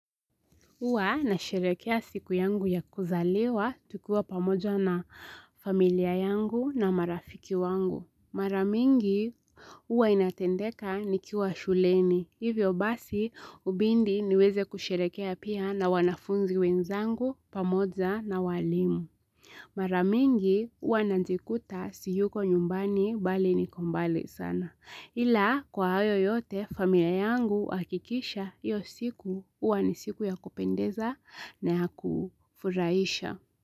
Huwa nasherekea siku yangu ya kuzaliwa tukiwa pamoja na familia yangu na marafiki wangu. Mara mingi huwa inatendeka nikiwa shuleni. Hivyo basi hubindi niweze kusherekea pia na wanafunzi wenzangu pamoja na walimu. Mara mingi huwa nanjikuta siyuko nyumbani bali niko mbali sana. Hila kwa hayo yote familia yangu huhakikisha hiyo siku huwa ni siku ya kupendeza na ya kufurahisha.